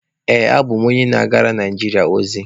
Ee, abụ m onye na-agara Naijiria ozi.